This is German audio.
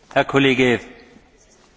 Vielen Dank, Herr Kollege Berman.